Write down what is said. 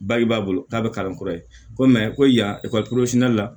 Baji b'a bolo k'a bɛ kalan kura ye ko ko yan